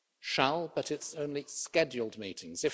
Shall' but it's only scheduled meetings.